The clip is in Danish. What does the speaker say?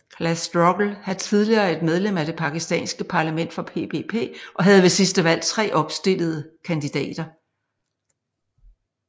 Class Struggle havde tidligere et medlem af det pakistanske parlament for PPP og havde ved sidste valg 3 opstillede kandidater